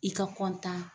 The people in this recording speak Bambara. I ka